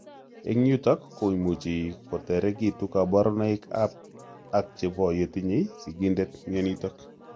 Eng' yutok komuchi koterekitu kaborunoik ak chebo yotinye sigindet mionitok